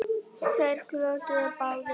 Þeir glottu báðir.